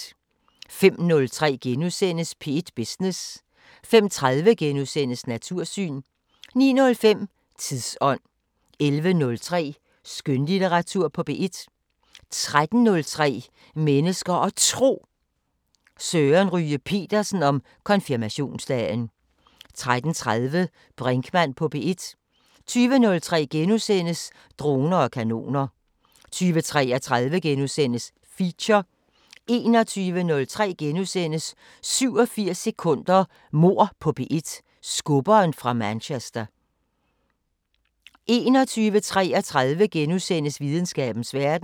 05:03: P1 Business * 05:30: Natursyn * 09:05: Tidsånd 11:03: Skønlitteratur på P1 13:03: Mennesker og Tro: Søren Ryge Petersen om konfirmationsdagen 13:30: Brinkmann på P1 20:03: Droner og kanoner * 20:33: Feature * 21:03: 87 sekunder – Mord på P1: Skubberen fra Manchester * 21:33: Videnskabens Verden *